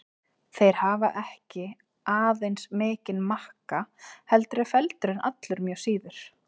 Þeir hafa ekki aðeins mikinn makka heldur eru feldurinn allur mjög síður.